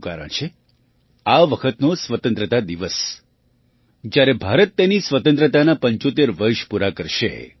તેનું કારણ છે આ વખતનો સ્વતંત્રતા દિવસ જ્યારે ભારત તેની સ્વતંત્રતાનાં ૭૫ વર્ષ પૂરાં કરશે